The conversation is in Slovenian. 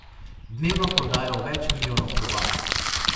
Dnevno prodajo več milijonov klobas.